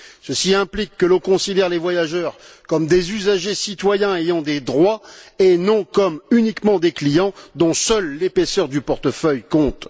Ceci implique que l'on considère les voyageurs comme des usagers citoyens ayant des droits et non uniquement comme des clients dont seule l'épaisseur du portefeuille compte.